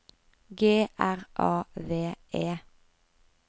G R A V E